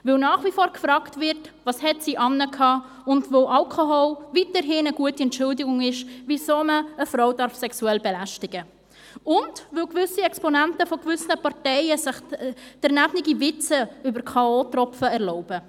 Dies, weil nach wie vor gefragt wird, «Welche Kleider hat sie getragen?», und weil Alkohol weiterhin eine gute Entschuldigung dafür ist, eine Frau sexuell belästigen zu dürfen – und, weil gewisse Exponenten gewisser Parteien sich unangebrachte Witze über K.-o.-Tropfen erlauben.